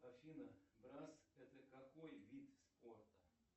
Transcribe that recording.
афина брас это какой вид спорта